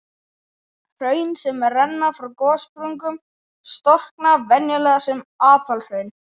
Hraun sem renna frá gossprungum storkna venjulega sem apalhraun.